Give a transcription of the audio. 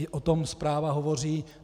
I o tom zpráva hovoří.